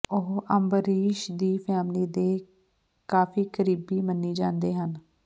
ਉਹ ਅੰਬਰੀਸ਼ ਦੀ ਫੈਮਿਲੀ ਦੇ ਕਾਫੀ ਕਰੀਬੀ ਮੰਨੀ ਜਾਂਦੇ ਹਨ